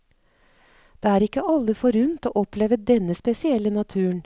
Det er ikke alle forunt å oppleve denne spesielle naturen.